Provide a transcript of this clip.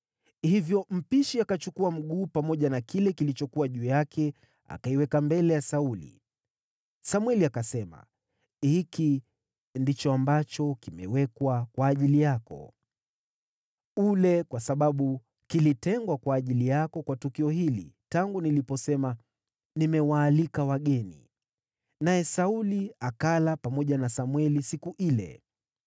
Hivyo mpishi akachukua mguu pamoja na kile kilichokuwa juu yake akaiweka mbele ya Sauli. Samweli akasema, “Hiki ndicho ambacho kimewekwa kwa ajili yako. Ule, kwa sababu kilitengwa kwa ajili yako kwa tukio hili, tangu niliposema, ‘Nimewaalika wageni.’ ” Naye Sauli akala pamoja na Samweli siku ile.